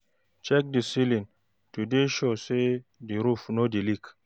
Check di ceiling to dey sure sey di roof no dey leak